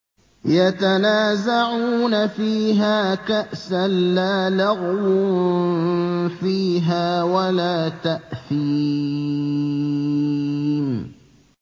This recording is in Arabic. يَتَنَازَعُونَ فِيهَا كَأْسًا لَّا لَغْوٌ فِيهَا وَلَا تَأْثِيمٌ